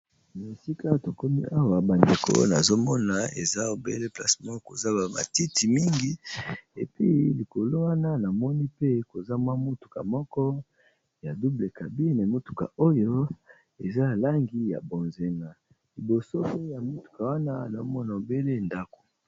Na esika tokomi awa bandeko nazomona eza obele place moko koza ba matiti mingi epi likolo wana na moni pe koza mwa motuka moko ya double cabine motuka oyo eza ya langi ya bonzinga liboso ya motuka wana nazomona obele ndako.